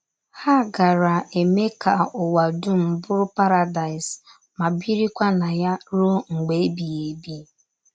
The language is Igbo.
Ha gaara eme ka ụwa dum bụrụ Paradaịs, ma birikwa na ya ruo mgbe ebighị ebi.